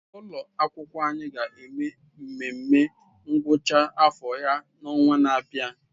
Ụlọ akwụkwọ anyị ga-eme nmenme ngwụcha afọ ha n'ọnwa na-abịa.